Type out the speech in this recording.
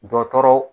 Dɔkɔtɔrɔ